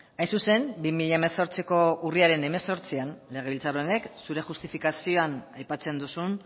hain zuzen bi mila hemezortziko urriaren hemezortzian legebiltzar honek zure justifikazioan aipatzen duzun